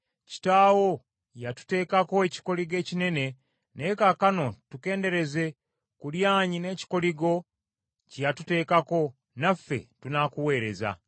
“Kitaawo yatuteekako ekikoligo ekinene, naye kaakano tukendeereze ku lyanyi n’ekikoligo kye yatuteekako, naffe tunaakuweereza.”